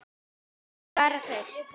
Ég er bara hraust.